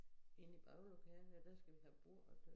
inde i baglokalet ja der skal vi have bord og så